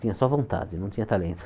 Tinha só vontade, não tinha talento.